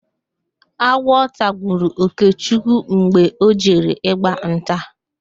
Agwọ tagburu Okechukwu mgbe ọ jere ịgba nta